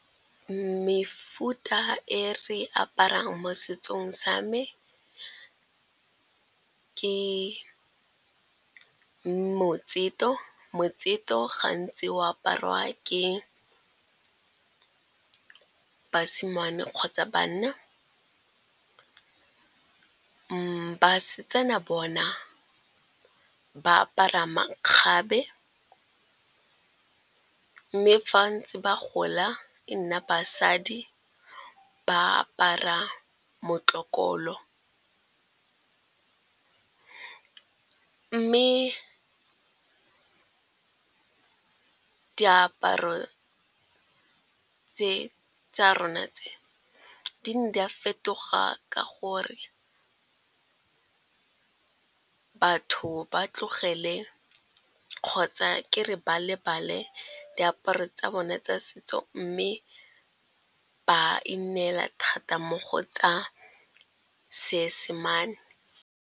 Mefuta e re aparang mo setsong sa me ke motsito. Motsito gantsi o aparwa ke basimane kgotsa banna. Basetsana bona ba apara makgabe, mme fa ntse ba gola e nna basadi ba apara motlokolo. Mme diaparo tse tsa rona tse, di ne di a fetoga ka gonne batho ba tlogele kgotsa ke re ba lebale diaparo tsa bone tsa setso, mme ba ineela thata mo go tsa seesemane.